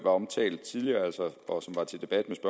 omtalt tidligere og som var til debat med